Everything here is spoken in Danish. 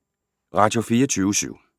Radio24syv